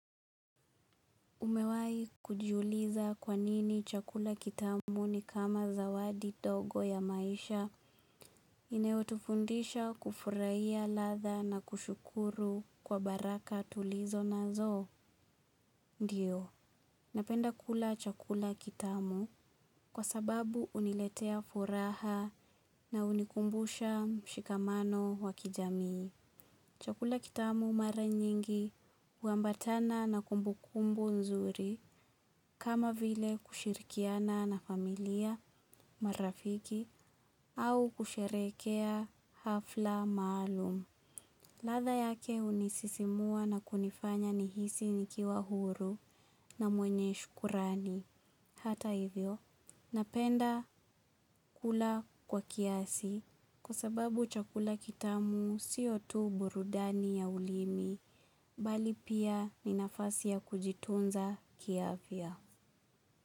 Umewai kujiuliza kwanini chakula kitamu ni kama zawadi ndogo ya maisha inayotufundisha kufurahiya ladha na kushukuru kwa baraka tulizo nazo. Ndiyo, napenda kula chakula kitamu kwa sababu uniletea furaha na unikumbusha mshikamano wakijamii. Chakula kitamu mara nyingi uambatana na kumbukumbu nzuri kama vile kushirikiana na familia marafiki au kusherekea hafla maalum. Ladha yake unisisimua na kunifanya nihisi nikiwa huru na mwenye shukurani. Hata hivyo, napenda kula kwa kiasi kwasababu chakula kitamu siyo tu burudani ya ulimi, mbali pia ni nafasi ya kujitunza kiafya.